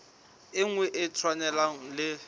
e nngwe e tshwanang le